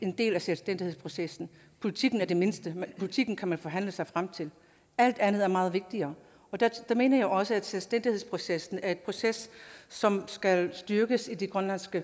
en del af selvstændighedsprocessen politikken er det mindste politikken kan man forhandle sig frem til alt andet er meget vigtigere der mener jeg også at selvstændighedsprocessen er en proces som skal styrkes i det grønlandske